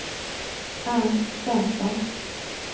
Ernst Svensson